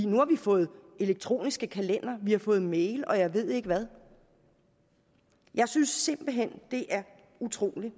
nu har vi fået elektroniske kalendere vi har fået mails og jeg ved ikke hvad jeg synes simpelt hen det er utroligt